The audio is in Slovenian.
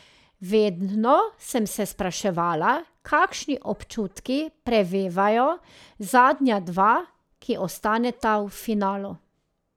Vedno sem se spraševala, kakšni občutki prevevajo zadnja dva, ki ostaneta v finalu.